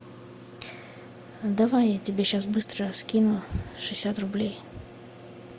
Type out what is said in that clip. давай я тебе сейчас быстро скину шестьдесят рублей